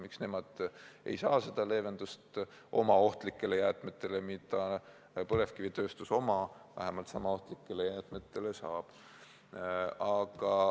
Miks nemad ei saa seda leevendust oma ohtlike jäätmete tarvis, mida põlevkivitööstus oma vähemalt niisama ohtlike jäätmete tarvis saab?